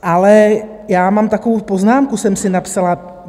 Ale já mám takovou poznámku, jsem si napsala.